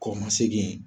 Kɔ ka segi